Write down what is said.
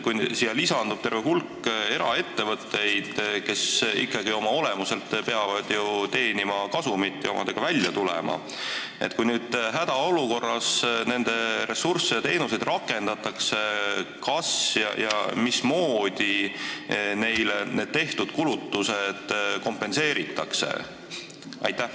Kui nüüd lisandub terve hulk eraettevõtteid, kes ikkagi oma olemuselt peavad teenima kasumit ja omadega välja tulema, siis kui hädaolukorras nende ressursse ja teenuseid kasutatakse, kas ja mismoodi neile tehtud kulutused kompenseeritakse?